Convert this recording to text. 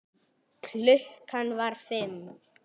Klukkan var fimm.